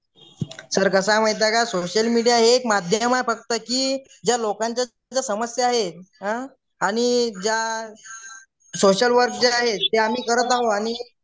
sir कसे आहे माहित आहे का सोशल मीडिया हे एक माध्यम आहे फक्त की ज्या लोकांच्यात समस्या आहे आणि ज्या सोशलवर्क जे आहे ते आम्ही करत आहो